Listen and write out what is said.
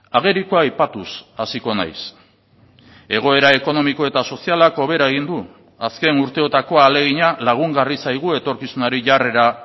agerikoa aipatuz hasiko naiz egoera ekonomiko eta sozialak hobera egin du azken urteotako ahalegina lagungarri zaigu etorkizunari jarrera